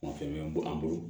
O fɛn bɛ bɔ an bolo